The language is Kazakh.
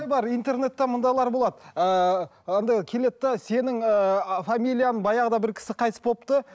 интернетте мындайлар болады ыыы андай келеді де сенің ыыы фамилияң баяғыда бір кісі қайтыс болыпты